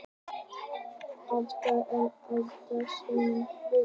Oftar en ekki tapaðist seinni leikurinn.